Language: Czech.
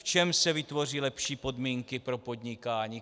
V čem se vytvoří lepší podmínky pro podnikání.